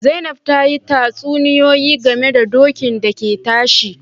Zainab ta yi tatsuniyoyi game da dokin da ke tashi